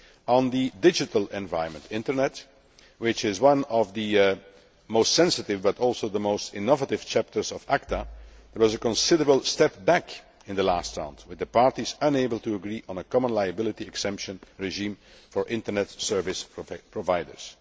On the digital environment which is one of the most sensitive but also the most innovative' chapters of ACTA, there was a considerable step back in the last round, with the Parties unable to agree on a common liability exemption regime for Internet service providers.